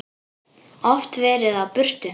Oft verið á burtu.